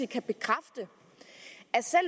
kan bekræfte